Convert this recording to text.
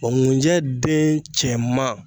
ŋunjɛ den cɛman